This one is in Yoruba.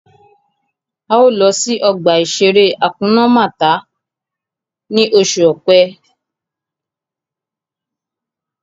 A ó lọ sí ọgbà-ìṣeré Hakuna Màtá ni oṣù Ọ̀pẹ